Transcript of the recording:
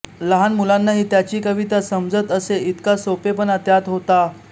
लहान मुलांनाही त्यांची कविता समजत असे इतका सोपेपणा त्यात होता